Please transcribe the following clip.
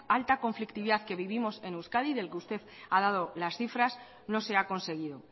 alta conflictividad que vivimos en euskadi del que usted ha dado las cifras no se ha conseguido